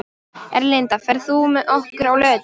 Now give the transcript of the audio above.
Erlinda, ferð þú með okkur á laugardaginn?